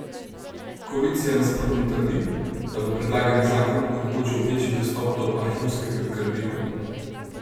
Koalicija nasprotno trdi, da bo predlagani zakon omogočil večji dostop do arhivskega gradiva.